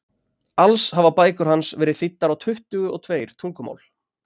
alls hafa bækur hans verið þýddar á tuttugu og tveir tungumál